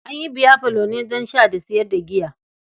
An yi biyafalo ne don sha da sayar da giya.